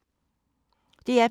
DR P2